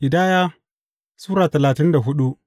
Ƙidaya Sura talatin da hudu